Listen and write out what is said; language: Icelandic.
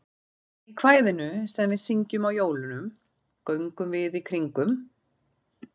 Í kvæðinu sem við syngjum á jólunum, Göngum við í kringum.